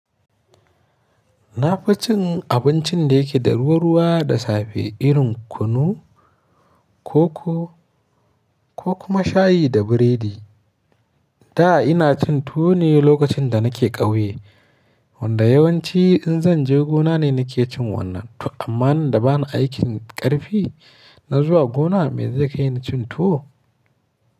Na fi cin abincin da yake da ruwa ruwa da safe irin kunu, koko ko kuma shayi da biredi. Da ina cin tuwo ne lokacin da nake ƙauye. Wanda yawanci in zan je gona ne nake cin wannan. Amma nan da bana aikin ƙarfi na zuwa gona, me zai kai ni cin tuwo?